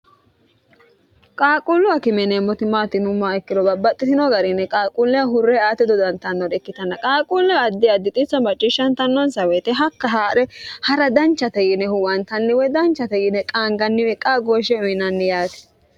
qaaquullu a kime yineemmoti maatinumma ikkilo babbaxxitino garini qaaquulleha hurre aati dodantannore ikkitanna qaaquullea addi addixiso macciishshantnnonsa woyite hakka haa're ha'ra danchate yiine huwantanniwoy danchate yiine qaanganniwe qaa gooshshe uyinanni yaati